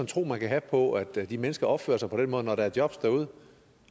tro man kan have på at de mennesker opfører sig på den måde når der er jobs derude